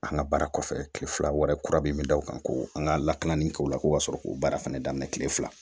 An ka baara kɔfɛ kile fila wɛrɛ kura min bɛ da o kan ko an ka lakanali kɛ o la ko ka sɔrɔ k'o baara fana daminɛ tile fila